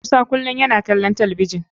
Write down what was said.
Musa kulum yana kalon talabijin.